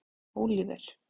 Óliver